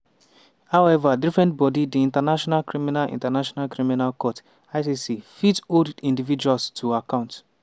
however different body di international criminal international criminal court (icc) fit hold individuals to account.